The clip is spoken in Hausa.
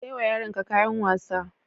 Ka sai wa yaronka kayan wasa.